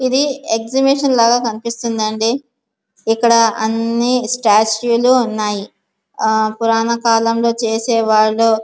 ఇది ఎక్సిబిషన్ లాగ కనిపిస్తుంది అండి. ఇక్కడ అన్ని స్టాట్ట్యూ లు ఉన్నాయి. ఆ పూరకకాలంలో చేసవాళ్లు.